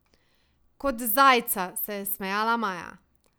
Kot zajca, se je smejala Maja.